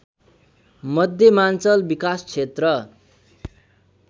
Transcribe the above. मध्यमाञ्चल विकासक्षेत्र